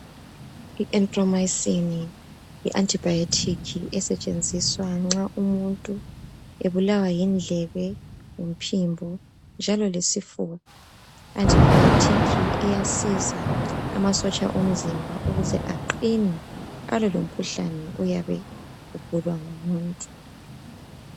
Ierytromycin yi antibiotic esentshenziswa nxa umuntu ebulawa yindlebe lomphimbo. Njalo lesifo i_antibiotic iyayenza amasotsha omzimba aqine alwe lomkhuhlane oyabe egula umuntu.